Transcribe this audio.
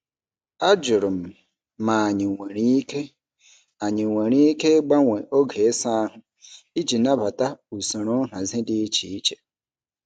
Ajụrụ m ma anyị nwere ike anyị nwere ike ịgbanwe oge ịsa ahụ iji nabata usoro nhazi dị iche iche.